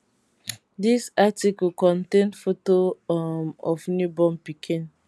dis article contain foto um of new born pikin